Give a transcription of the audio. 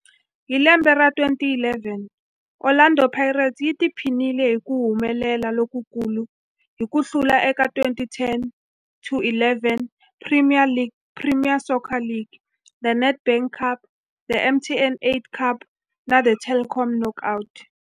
Hi lembe ra 2011, Orlando Pirates yi tiphinile hi ku humelela lokukulu hi ku hlula eka 2010-11 Premier Soccer League, The Nedbank Cup, The MTN 8 Cup na The Telkom Knockout.